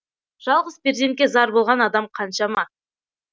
жалғыз перзентке зар болған адам қаншама